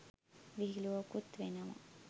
විහිලුවකුත් වෙනවා.